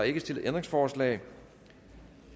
ikke stillet ændringsforslag